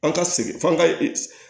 An ka segin f'an ka